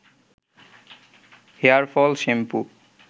hair fall shampoo